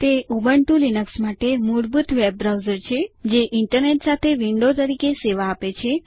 તે Ubuntu Linux માટે મૂળભૂત વેબ બ્રાઉઝર છે જે ઈન્ટરનેટ સાથે વિન્ડો તરીકે સેવા આપે છે